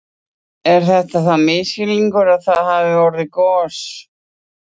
Er þetta þá misskilningur að það sé hafið gos?